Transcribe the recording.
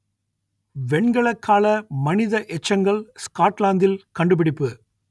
வெண்கலக்கால மனித எச்சங்கள் ஸ்காட்லாந்தில் கண்டுபிடிப்பு